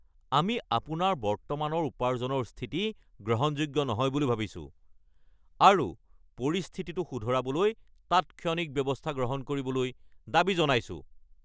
আমি আপোনাৰ বৰ্তমানৰ উপাৰ্জনৰ স্থিতি গ্ৰহণযোগ্য নহয় বুলি ভাবিছো আৰু পৰিস্থিতিটো শুধৰাবলৈ তাৎক্ষণিক ব্যৱস্থা গ্ৰহণ কৰিবলৈ দাবী জনাইছোঁ।